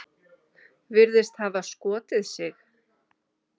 Virðist hafa skotið sig.